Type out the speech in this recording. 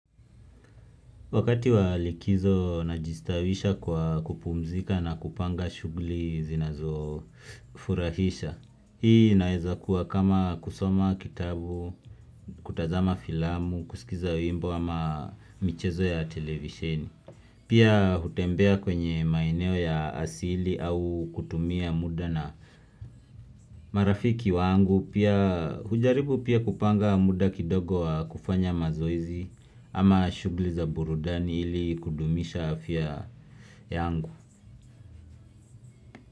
Wakati wa likizo najistawisha kwa kupumzika na kupanga shughli zinazofurahisha. Hii inaeza kuwa kama kusoma kitabu, kutazama filamu, kusikiza wimbo ama michezo ya televisheni. Pia hutembea kwenye maeneo ya asili au kutumia muda na marafiki wangu. Pia hujaribu pia kupanga muda kidogo wa kufanya mazoezi ama shughli za burudani ili kudumisha afya yangu.